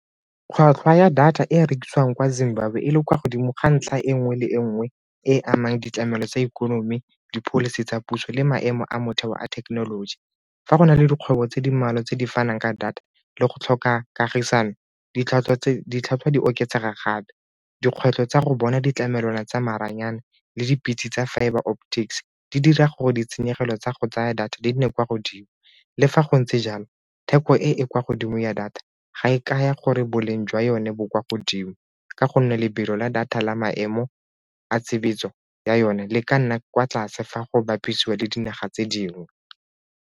Tlhwatlhwa ya data e e rekisiwang kwa Zimbabwe e le kwa godimo ga ntlha e nngwe le e nngwe e amang ditlamelo tsa ikonomi, di-policy tsa puso le maemo a motheo a thekenoloji. Fa go na le dikgwebo tse di mmalwa tse di fanang ka data le go tlhoka kagisano ditlhwatlhwa di oketsega gape. Dikgwetlho tsa go bona ditlamelwana tsa maranyane le dipitse tsa fibre di dira gore ditshenyegelo tsa go tsaya data di nne kwa godimo. Le fa go ntse jalo, theko e e kwa godimo ya data ga e kaya gore boleng jwa yone bo kwa godimo ka gonne lebelo la data la maemo a tshebetso ya yone le ka nna kwa tlase fa go bapisiwa le dinaga tse dingwe.